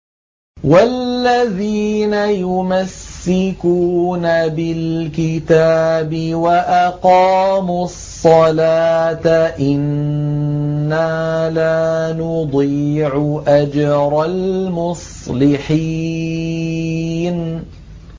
وَالَّذِينَ يُمَسِّكُونَ بِالْكِتَابِ وَأَقَامُوا الصَّلَاةَ إِنَّا لَا نُضِيعُ أَجْرَ الْمُصْلِحِينَ